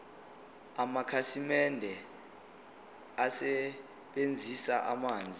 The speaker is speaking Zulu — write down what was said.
amakhasimende asebenzisa amanzi